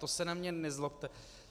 To se na mě nezlobte.